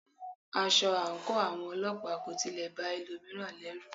Aṣọ àńkò àwọn ọlọ́pàá kò tilẹ̀ ba ẹlòmíràn lọrù.